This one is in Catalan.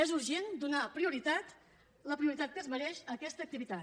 és urgent donar prioritat la prioritat que es mereix a aquesta activitat